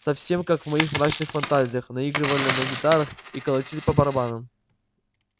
совсем как в моих мрачных фантазиях наигрывали на гитарах и колотили по барабанам